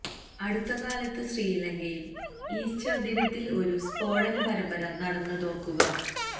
അടുത്ത കാലത്ത് ശ്രീലങ്കയില് ഈസ്റ്റര് ദിനത്തില് ഒരു സ്ഫോടന പരമ്പര നടന്നതോര്ക്കുക